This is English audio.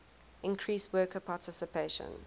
increase worker participation